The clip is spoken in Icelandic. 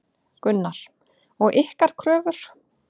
Gunnar: Og ykkar kröfur?